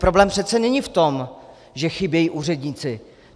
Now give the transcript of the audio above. Problém přece není v tom, že chybějí úředníci.